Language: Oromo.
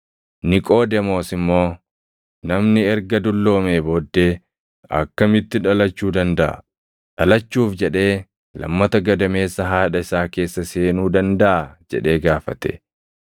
Niqoodemoos immoo, “Namni erga dulloomee booddee akkamitti dhalachuu dandaʼa? Dhalachuuf jedhee lammata gadameessa haadha isaa keessa seenuu dandaʼaa?” jedhee gaafate.